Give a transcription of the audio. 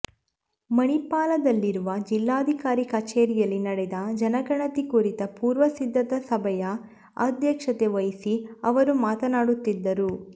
ಮಣಿಪಾಲದಲ್ಲಿರುವ ಜಿಲ್ಲಾಧಿಕಾರಿ ಕಚೇರಿಯಲ್ಲಿ ನಡೆದ ಜನಗಣತಿ ಕುರಿತ ಪೂರ್ವ ಸಿದ್ಧತಾ ಸಭೆಯ ಅಧ್ಯಕ್ಷತೆ ವಹಿಸಿ ಅವರು ಮಾತನಾಡುತಿದ್ದರು